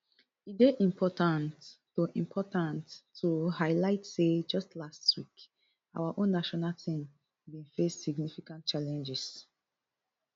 e dey important to important to highlight say just last week our own national team bin face significant challenges